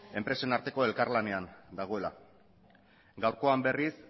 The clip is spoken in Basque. enpresen arteko elkarlanean dagoela gaurkoan berriz